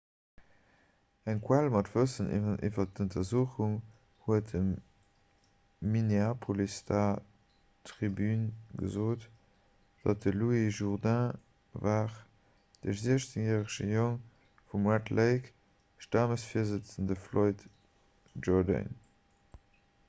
eng quell mat wëssen iwwer d'untersuchung huet dem minneapolis star tribune gesot datt et de louis jourdain war de 16-järege jong vum 'red lake'-stammesvirsëtzende floyd jourdain